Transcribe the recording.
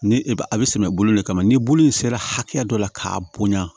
Ni a bɛ sɛnɛ bolo le kama ni bolo in sera hakɛya dɔ la k'a bonya